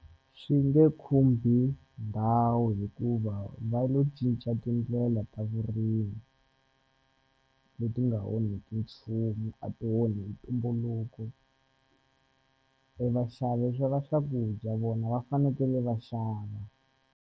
Swi nge khumbi ndhawu hikuva va lo cinca tindlela ta vurimi leti nga onheki nchumu a ti onhi tumbuluko e vaxavi xava swakudya vona va fanekele va xava.